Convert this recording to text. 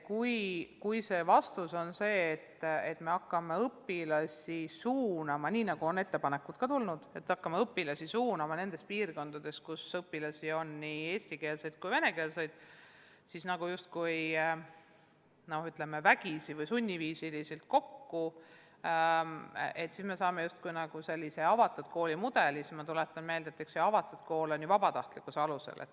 Kui see vastus on, nii nagu on ka ettepanekuid tulnud, et me hakkame nendes piirkondades, kus on nii eesti- kui venekeelseid õpilasi, neid vägisi ja sunniviisiliselt kokku suunama, et saada justkui selline avatud kooli mudel, siis ma tuletan meelde, et avatud kool toimib vabatahtlikkuse alusel.